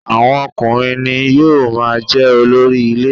Awọn ọkùnrin ni yóò máa jẹ́ olórí ilé.